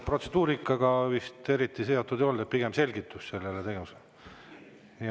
Protseduurikaga see vist eriti seotud ei olnud, pigem selgitus sellele tegevusele.